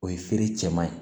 O ye feere cɛman ye